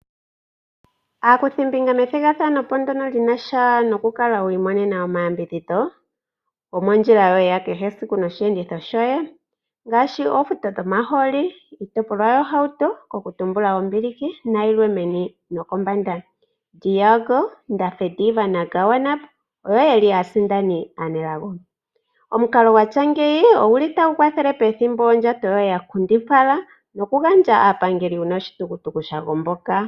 Aakuthimbinga methigathano po ndono lina sha nokukala wii monena omayambidhidho gomondjila yoye ya kehe esiku noshiyenditho shoye. Ngaashi oofuto dhomaholi, iitopolwa yohauto, koku tumbula oombiliki nayilwe meni nokombanda. De Jager, Ndafediva naGawanab, oyo yeli aasindani aanelago. Omukalo gwatya ngeyi oguli tagu kwathele pethimbo ondjato yoye ya nkundipala nokugandja aapangeli uuna oshitukutuku sha gomboka.